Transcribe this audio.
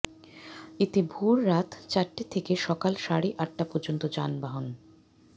এতে ভোররাত চারটা থেকে সকাল সাড়ে আটটা পর্যন্ত যানবাহন